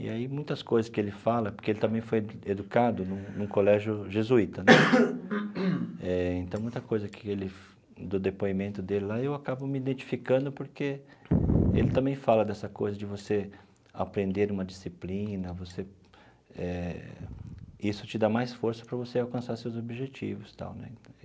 E aí muitas coisas que ele fala, porque ele também foi educado em um colégio jesuíta, eh então muita coisa que ele do depoimento dele lá eu acabo me identificando, porque ele também fala dessa coisa de você aprender uma disciplina você eh, isso te dá mais força para você alcançar seus objetivos tal né.